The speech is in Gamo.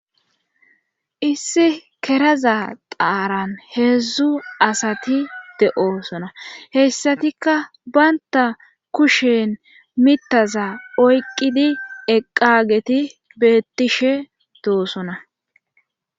Issi keraza qaaran heedzdzu asati de7osona heyssatikka baynta kushen mitaza oyqqidi eqqageti beettishe doosona.